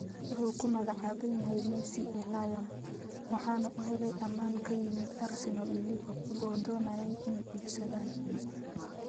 Wuxuu ku magacaaban yahay 'Messi ee Lyon,' waxaana uu helay ammaan ka yimid Arsenal iyo Liverpool oo doonayay inay iibsadaan.